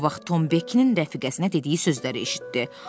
Bu vaxt Tom Bekkinin rəfiqəsinə dediyi sözləri eşitdi.